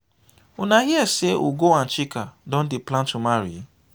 una hear say ugo and chika don dey plan to marry?